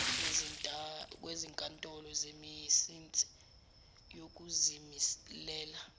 kwezinkantolo zemisinsi yokuzimilela